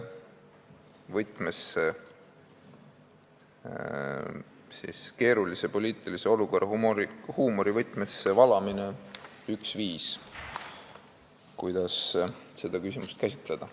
Kindlasti on keerulise poliitilise olukorra huumorivõtmesse valamine üks viis, kuidas seda küsimust käsitleda.